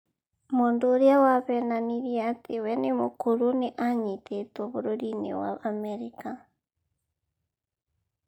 Mũndũ ũrĩa wahenanirie atĩ we nĩ mũkũrũ nĩ anyitĩtwo bũrũri-inĩ wa Amerika